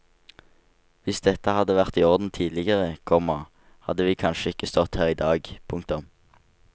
Hvis dette hadde vært i orden tidligere, komma hadde vi kanskje ikke stått her i dag. punktum